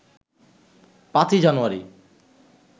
৫ই জানুয়ারি